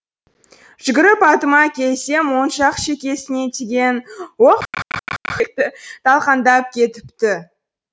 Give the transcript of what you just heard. жүгіріп атыма келсем оң жақ шекесінен тиген оқ талқандап кетіпті